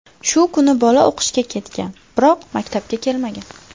Shu kuni bola o‘qishga ketgan, biroq maktabga kelmagan.